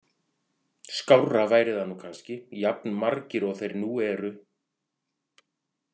Skárra væri það nú kannski, jafn margir og þeir nú eru.